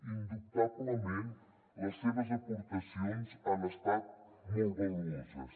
indubtablement les seves aportacions han estat molt valuoses